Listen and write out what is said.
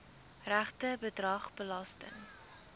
regte bedrag belasting